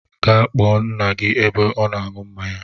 Gee kpọọ ńnà gị ebe ọ nọ aṅụ mmáñyá!!